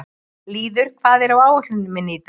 Lýður, hvað er á áætluninni minni í dag?